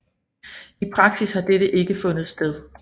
I praksis har dette ikke fundet sted